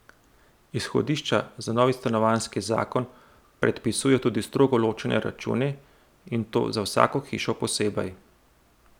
Izhodišča za novi stanovanjski zakon predpisujejo tudi strogo ločene račune, in to za vsako hišo posebej.